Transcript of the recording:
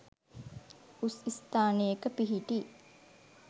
උස් ස්ථානයක පිහිටි